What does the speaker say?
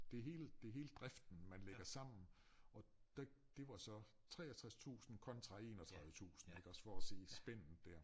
Det hele det hele driften man lægger sammen og der det var så 63 tusinde kontra 31 tusinde iggås for at sige spændet dér